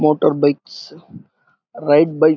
motor bikes ride bike --